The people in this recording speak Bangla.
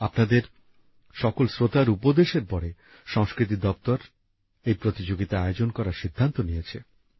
আপনাদের সকল শ্রোতার উপদেশের পরে সংস্কৃতি দপ্তর এই প্রতিযোগিতা আয়োজন করার সিদ্ধান্ত নিয়েছে